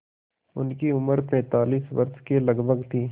उनकी उम्र पैंतालीस वर्ष के लगभग थी